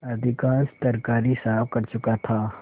अधिकांश तरकारी साफ कर चुका था